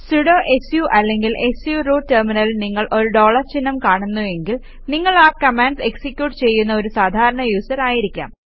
sudo su അല്ലെങ്കിൽ su root ടെര്മിനലിൽ നിങ്ങൾ ഒരു ഡോളർ ചിഹ്നം കാണുന്നു എങ്കിൽ നിങ്ങൾ ആ കമാൻഡ്സ് എക്സിക്യൂട്ട് ചെയ്യുന്ന ഒരു സാധാരണ യൂസർ ആയിരിക്കാം